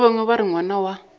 bangwe ba re ngwana wa